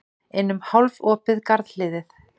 Inn um hálfopið garðhliðið.